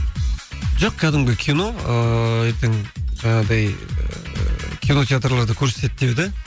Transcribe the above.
жоқ кәдімгі кино ыыы ертең жаңағыдай ыыы кинотеатрларда көрсетеді деді